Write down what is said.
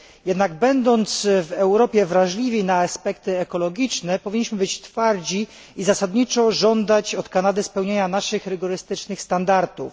Jednak będąc w Europie wrażliwi na aspekty ekologiczne, powinniśmy być twardzi i zasadniczo żądać od Kanady spełnienia naszych rygorystycznych standardów.